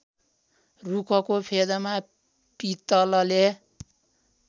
रुखको फेदमा पितलले